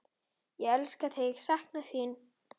Ég elska þig, sakna þín.